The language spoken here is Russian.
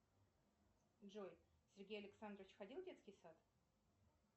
джой сергей александрович ходил в детский сад